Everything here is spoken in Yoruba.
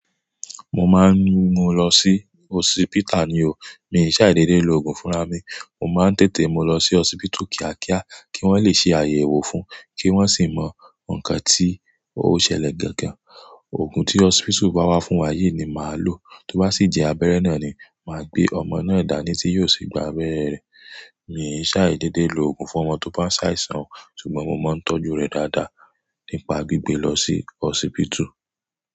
Mo máa ń mú un lọ sí osipita ni o. Mi ò ṣàì dédé lo òògùn fúnra mi. Mo máa ń tètè mú lọ sí osipitu kí a kíá, kí wọ́n lè ṣe àyẹ̀wò fún, kí wọ́n sì mọ ǹkan tí ó ṣẹlẹ̀ gangan. Òògùn tí osipitu bá wá fún wa yìí ni màá lò. Tí ó bá sì jẹ abẹ́rẹ́ náà ni, màá gbé ọmọ náà dání tí yóò sì gba abẹ́rẹ́ rẹ̀. Mi ò ṣàì dédé lo òògùn fún ọmọ tó bá ń ṣàìsàn, ṣùgbọ́n mo máa ń tọ́jú rẹ̀ dáadáa nípa gbígbé lọ sí osipitu.